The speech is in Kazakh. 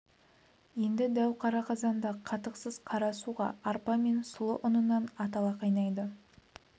енді дәу қара қазанда қатықсыз қара суға арпа мен сұлы ұнынан атала қайнайды